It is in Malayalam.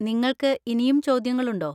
നിങ്ങൾക്ക് ഇനിയും ചോദ്യങ്ങളുണ്ടോ?